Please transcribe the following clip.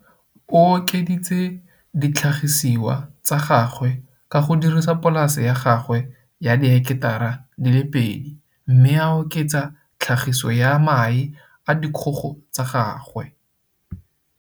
O okeditse ditlhagisiwa tsa gagwe ka go dirisa polase ya gagwe ya diheketara di le pedi mme a oketsa tlhagiso ya mae a dikgogo tsa gagwe.